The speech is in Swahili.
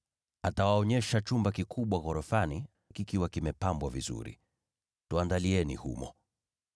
Atawaonyesha chumba kikubwa ghorofani, kikiwa kimepambwa vizuri. Andaeni humo.”